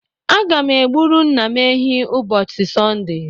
Aga m egburu nna m ehi ubosi Sọnde